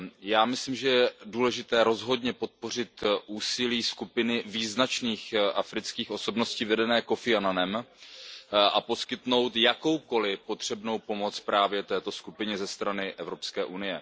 Já myslím, že je důležité rozhodně podpořit úsilí skupiny význačných afrických osobností vedené Kofim Annanem a poskytnout jakoukoli potřebnou pomoc právě této skupině ze strany EU.